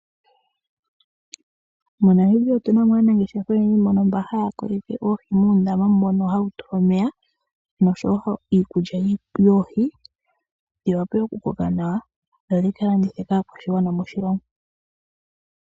MoNamibia otuna mo aanangeshefa oyendji mbono haya kunu oohi muundama mono hawu tulwa omeya nosho wo iikulya yoohi, dhi wape oku koka nawa dho dhika landithwe kaakwashigwana moshilongo.